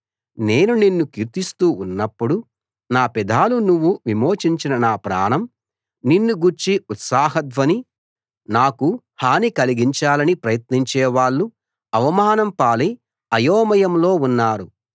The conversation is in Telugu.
నేను నిన్ను కీర్తిస్తూ ఉన్నప్పుడు నా పెదాలు నువ్వు విమోచించిన నా ప్రాణం నిన్ను గూర్చి ఉత్సాహధ్వని చేస్తాయి నాకు హాని కలిగించాలని ప్రయత్నించే వాళ్ళు అవమానం పాలై అయోమయంలో ఉన్నారు